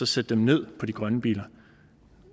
sætte dem ned på de grønne biler